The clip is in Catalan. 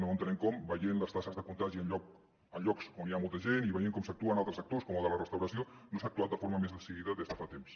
no entenem com veient les taxes de contagi en llocs on hi ha molta gent i veient com s’actua en altres sectors com el de la restauració no s’ha actuat de forma més decidida des de fa temps